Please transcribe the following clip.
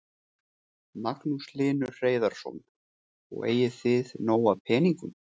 Magnús Hlynur Hreiðarsson: Og eigið þið nóg af peningum?